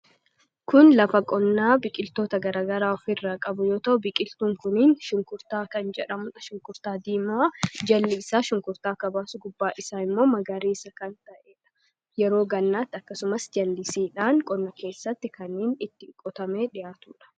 kun lafa qonnaa biqiltoota garagaraa of irraa qabuyota'u biqiltuun kuniin shunkurtaa kan jedhamudha shunkurtaa diimaa jalli isaa shunkurtaa akka baasu gubbaa isaa immoo magariisa kan ta'eedha yeroo gannaatti akkasumas jal'isiidhaan qonna keessatti kanniin itti qotame dhihaatuudha